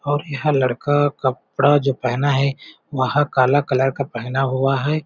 और यहाँ लड़का कपरा जो पेहना है वह काला कलर का पेहना हुआ हैं।